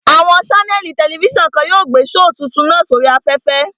Àwọn ṣánẹ̀lì tẹlifísàn kan yóò gbé shoò tuntun náà sí oríi afẹ́fẹ́